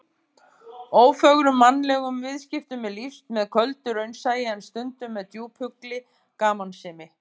Ófögrum mannlegum viðskiptum er lýst með köldu raunsæi, en stundum með djúphugulli gamansemi.